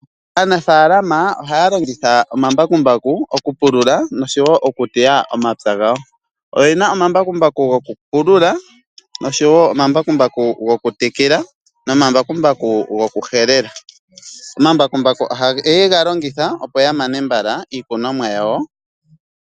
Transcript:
Aanafalama ohaya longitha omambakumabku oku pulula noshowo okuteya omapya gawo. Oyena omambakumbaku gokupulula noshowo omambakumbaku gokutekela nomambakumbaku gokuhelela. Omambakumbaku ohaye ga longitha, opo ya mane mbala iikunomwa yawo.